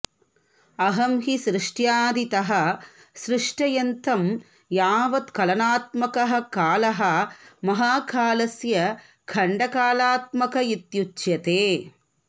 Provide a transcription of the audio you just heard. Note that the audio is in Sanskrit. अयं हि सृष्ट्यादितः सृष्टयन्तं यावत् कलनात्मकः कालः महाकालस्य खण्डकालात्मक इत्युच्यते